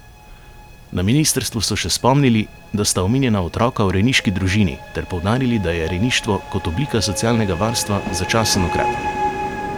Na ministrstvu so še spomnili, da sta omenjena otroka v rejniški družini, ter poudarili, da je rejništvo kot oblika socialnega varstva začasen ukrep.